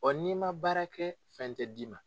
Ɔ n'i ma baara kɛ, fɛn tɛ d'i ma.